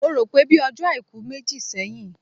Mo rò pé bíi ọjọ́ Àìkú méjì sẹ́yìn